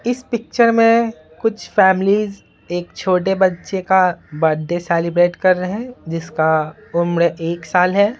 इस पिक्चर में कुछ फैमिलीज एक छोटे बच्चे का बर्थडे सेलिब्रेट कर रहे हैं जिसका उम्र एक साल है।